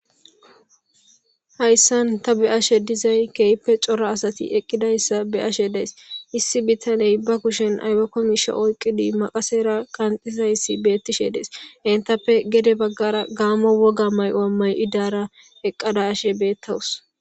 hayssan ta be7ashe dizay keyppe cora asati eqqidayssa beashe dees issi bitaney ba kushen aybakomisho oyqqidi maqasera qanxizayssi beettishe dees entappe gede baggara gaamo woga may7oamay idara eqqada ashe bettawus